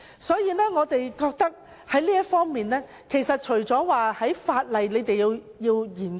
所以，我們覺得在這方面，政府有需要在法例上進行研究。